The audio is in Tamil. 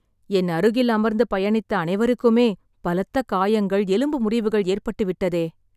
என் அருகில் அமர்ந்து பயணித்த அனைவருக்குமே, பலத்த காயங்கள், எலும்பு முறிவுகள் ஏற்பட்டுவிட்டதே.